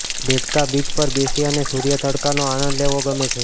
દેડકાં beach પર બેસી અને સૂર્ય તડકાનો આનંદ લેવો ગમે છે